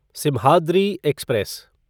Simhadri express